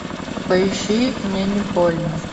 поищи мне не больно